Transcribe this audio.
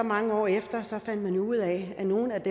mange år efter fandt ud af at nogle af